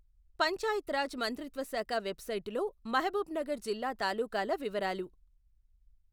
పంచాయత్ రాజ్ మంత్రిత్వ శాఖ వెబ్సైటులో మహబూబ్ నగర్ జిల్లా తాలూకాల వివరాలు.